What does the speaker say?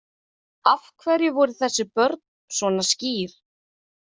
Af hverju voru þessi börn svona skýr?